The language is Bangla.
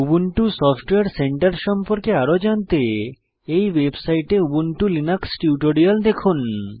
উবুন্টু সফটওয়্যার সেন্টার সম্পর্কে আরো জানতে এই ওয়েবসাইটে উবুন্টু লিনাক্স টিউটোরিয়াল দেখুন